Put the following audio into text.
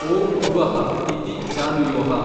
ಓಂ ಭುವಃ ಇತಿ ಜಾನುಯೋಃ।